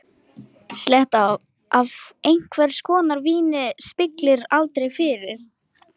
Sletta af einhvers konar víni spillir aldrei fyrir.